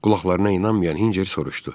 Qulaqlarına inanmayan Hinçer soruşdu.